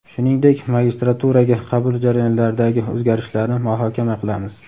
shuningdek magistraturaga qabul jarayonlaridagi o‘zgarishlarni muhokama qilamiz.